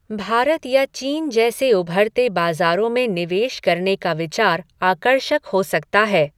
भारत या चीन जैसे उभरते बाजारों में निवेश करने का विचार आकर्षक हो सकता है।